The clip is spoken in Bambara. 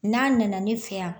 N'a nana ne fɛ yan